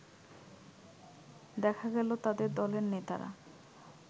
দেখা গেল তাদের দলের নেতারা